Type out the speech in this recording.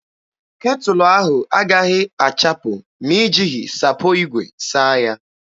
Ketụlụ ahụ agaghị achapụ ma i jighị sapo igwe saa ya.